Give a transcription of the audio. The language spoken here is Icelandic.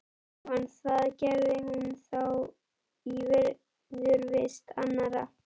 Jóhann: Það gerði hún þá í viðurvist annarra?